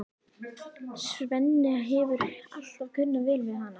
Svenni hefur alltaf kunnað vel við hana.